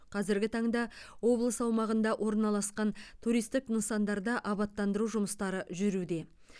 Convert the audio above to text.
қазіргі таңда облыс аумағында орналасқан туристік нысандарда абаттандыру жұмыстары жүруде